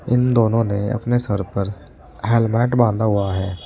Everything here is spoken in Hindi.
इन दोनों ने अपने सर पर हेलमेट बांधा हुआ है।